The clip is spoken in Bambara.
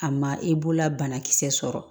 A ma i bolola banakisɛ sɔrɔ